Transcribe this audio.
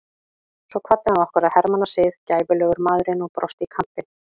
Svo kvaddi hann okkur að hermannasið, gæfulegur maðurinn og brosti í kampinn.